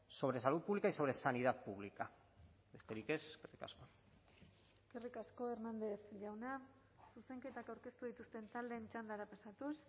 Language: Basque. sobre salud pública y sobre sanidad pública besterik ez eskerrik asko eskerrik asko hernández jauna zuzenketak aurkeztu dituzten taldeen txandara pasatuz